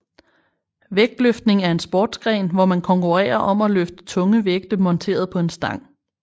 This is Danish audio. Vægtløftning er en sportsgren hvor man konkurrerer om at løfte tunge vægte monteret på en stang